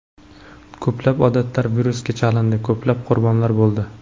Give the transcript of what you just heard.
Ko‘plab odamlar virusga chalindi, ko‘plab qurbonlar bo‘ldi.